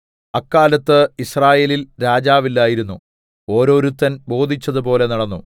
അക്കാലത്ത് യിസ്രായേലിൽ രാജാവില്ലായിരുന്നു ഓരോരുത്തൻ ബോധിച്ചതുപോലെ നടന്നു